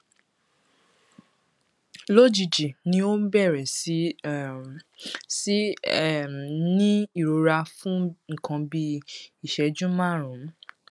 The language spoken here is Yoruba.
lójijì ni ó ń bẹrẹ sí um sí um í ní ìrora fún nǹkan bíi ìṣẹjú márùnún